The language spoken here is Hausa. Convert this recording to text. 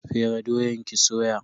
Fere doyan ki soya.